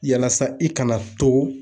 Yalasa i kana to.